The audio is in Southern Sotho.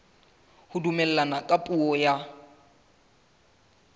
ho dumellana ka puo ya